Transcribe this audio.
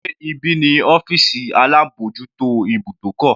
Sé ibí ni ọ́fìsì alábòjútó ibùdókọ̀?